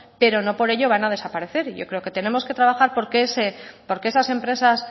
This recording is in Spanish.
pero no por ello van a desaparecer y yo creo que tenemos que trabajar porque esas empresas